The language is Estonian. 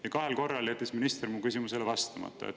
Ja kahel korral jättis minister mu küsimusele vastamata.